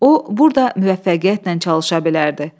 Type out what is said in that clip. O, burda müvəffəqiyyətlə çalışa bilərdi.